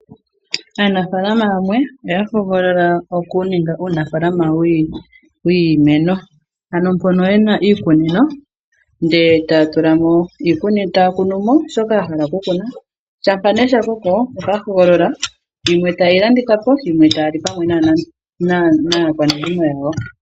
Aanafaalama yamwe oya hogolola okuninga uunafaalama wiimeno, ano mpono ye na iikunino ndele taya kunu mo shoka ya hala okukuna, shampa nee sha koko otaya hogolola yimwe taye yi landitha po yimwe taya li naakwanezimo yawo.